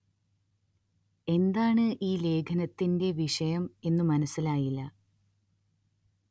എന്താണ് ഈ ലേഖനത്തിന്റെ വിഷയം എന്നു മനസ്സിലായില്ല